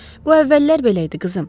Bu əvvəllər belə idi, qızım.